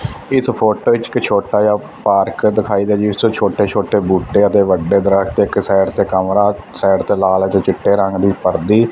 ਇਸ ਫੋਟੋ ਵਿੱਚ ਇੱਕ ਛੋਟਾ ਪਾਰਕ ਦਿਖਾਈਦਾ ਜਿਸ ਤੋਂ ਛੋਟੇ ਛੋਟੇ ਬੂਟੇ ਅਤੇ ਵੱਡੇ ਦਰਖਤ ਇੱਕ ਸਾਈਡ ਤੇ ਕਮਰਾ ਸਾਈਡ ਤੇ ਲਾਲ ਤੇ ਚਿੱਟੇ ਰੰਗ ਦੀ ਪਰਦੀ।